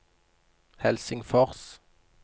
Helsingfors